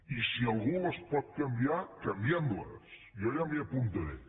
i si algú les pot canviar canviem les jo ja m’hi apuntaré